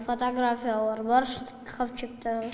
фотогафиялар бар шкафчикта